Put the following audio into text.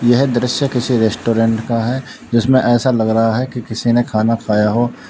यह दृश्य किसी रेस्टोरेंट का है जिसमें ऐसा लग रहा है कि किसी ने खाना खाया हो--